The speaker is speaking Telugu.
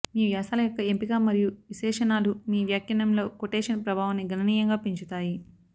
మీ వ్యాసాల యొక్క ఎంపిక మరియు విశేషణాలు మీ వ్యాఖ్యానంలో కొటేషన్ ప్రభావాన్ని గణనీయంగా పెంచుతాయి